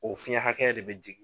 O fiyɛn hakɛya de bɛ jigin.